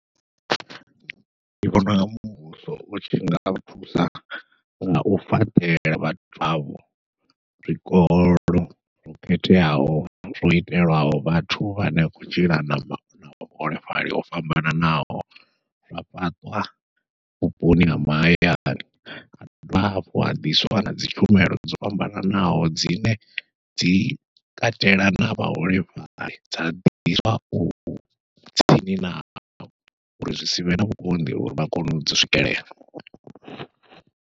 Ndi vhona unga muvhuso utshi nga thusa ngau fhaṱela vhathu avho zwikolo zwo khetheaho zwo itelwaho vhathu vhane a khou tshila na vhuholefhali ho fhambananaho, zwa fhaṱwa vhuponi ha mahayani ha dovha hafhu ha ḓiswa nadzi tshumelo dzo fhambananaho dzine dzi katela na vhaholefhali dza ḓiswa u tsini navho uri zwi sivhe na vhukonḓi uri vha kone u dzi swikelela.